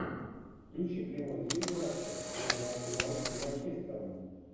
включи прямой эфир матча между арсеналом и манчестером